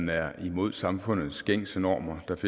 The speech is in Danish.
være imod samfundets gængse normer